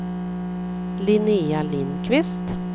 Linnéa Lindqvist